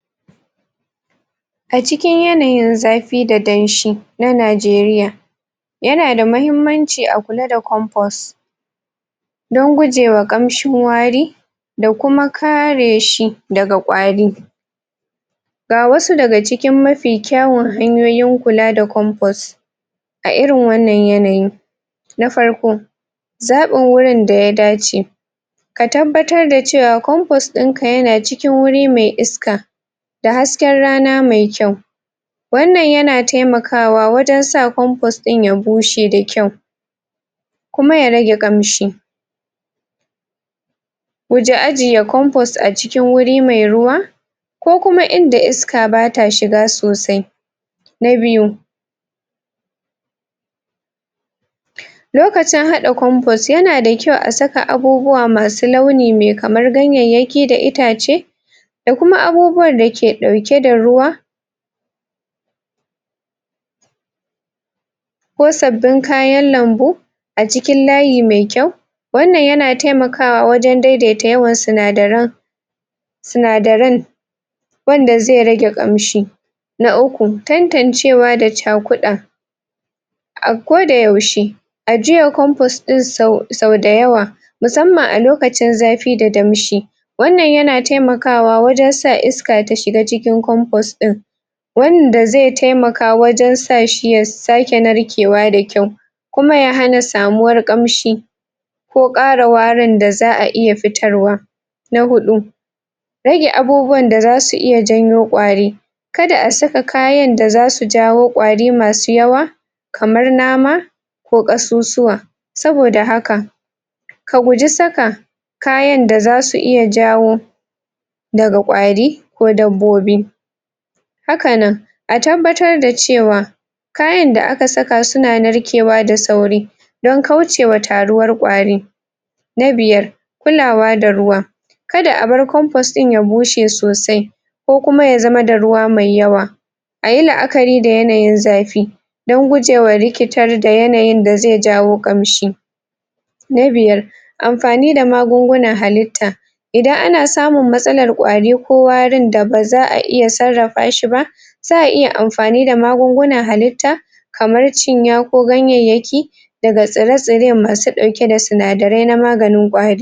A cikin yanayin zafi da danshi na Najeriya yana da mahimmanci a kula da compost dan gujewa ƙamshin wari da kuma kare shi daga ƙwari ga wasu daga cikin mafi kyawun hanyoyin kula da compost a irin wannan yanayin na farko, zaɓin wurin da ya dace ka tabbatar da cewa compost ɗin ka yana cikin wuri me iska da hasken rana me kyau wannan yana taimakawa wajen sa compost ɗin ya bushe da kyau kuma ya rage ƙamshi guji ajiye compost a cikin wuri mai ruwa ko kuma inda iska bata shiga sosai na biyu, lokacin haɗa compost yana da kyau a saka abubuwa masu launi me kamar ganyayyaki da itace da kuma abubuwan da ke ɗauke da ruwa ko sabbin kayan lambu a cikin layi mai kyau wannan yana taimakawa wajen daidaita yawan sinadaran sinadaran wanda zai rage ƙamshi na uku, tantancewa da cakuɗa a kodayaushe ajiyan compost ɗin sau da yawa musamman a lokacin zafi da damshi wannan yana taimakawa wajen sa iska ta shiga cikin compost ɗin wanda zai taimaka wajen sa shi ya sake narkewa da kyau kuma ya hana samuwar ƙamshi ko ƙara warin da za'a iya fitarwa na huɗu, rage abubuwan da zasu iya janyo ƙwari kada a saka kayan da zasu jawo ƙwari masu yawa kamar nama ko ƙasusuwa saboda haka ka guji saka kayan da zasu iya jawo daga ƙwari ko dabbobi haka nan a tabbatar da cewa kayan da aka saka suna narkewa da sauri don kaucewa taruwar ƙwarin na biyar, kulawa da ruwa kada a bar compost ɗin ya bushe sosai ko kuma ya zama da ruwa mai yawa a yi la'akari da yanayin zafi dan gujewa rikitar da yanayin da zai jawo ƙamshi na biyar, amfani da magungunan halitta idan ana samun matsalar ƙwari ko warin da ba za'a iya sarrafa shi ba za'a iya amfani da magungunan halitta kamar cinya ko ganyayyaki daga tsire-tsire masu ɗauke da sinadarai na maganin ƙwari.